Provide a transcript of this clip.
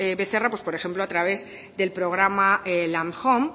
becerra pues por ejemplo a través del programa landhome